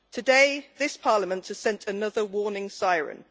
Today, this Parliament has sent another warning siren.